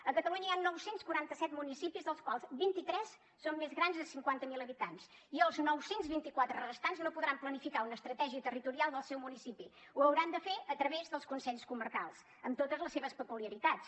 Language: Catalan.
a catalunya hi han nou cents i quaranta set municipis dels quals vint i tres són més grans de cinquanta mil habitants i els nou cents i vint quatre restants no podran planificar una estratègia territorial del seu municipi ho hauran de fer a través dels consells comarcals amb totes les seves peculiaritats